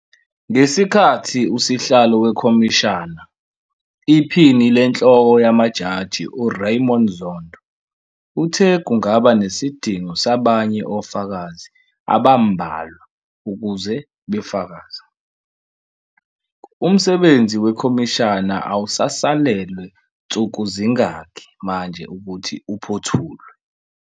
Ngesikhathi usihlalo wekhomishana, Iphini LeNhloko yamaJaji u-Raymond Zondo uthe kungaba nesidingo sabanye ofakazi abambalwa ukuze befakaze, umsebenzi wekhomishana awusasalelwe nsukuzingaki manje ukuthi uphothulwe.